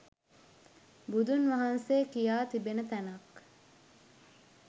බුදුන් වහන්සේ කියා තිබෙන තැනක්